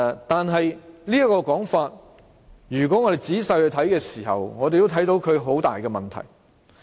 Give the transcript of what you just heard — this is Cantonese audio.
但是，如果我們仔細地看這說法，便會看到存在很大的問題。